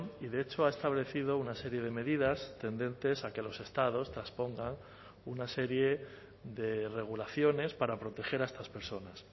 y de hecho ha establecido una serie de medidas tendentes a que los estados traspongan una serie de regulaciones para proteger a estas personas